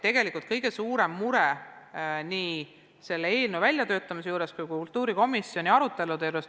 Tegelikult on kõige suurem mure nii selle eelnõu väljatöötamisel kui ka kultuurikomisjoni aruteludes olnud muus.